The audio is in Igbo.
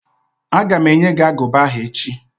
Aga m enye gị agụba ahụ echi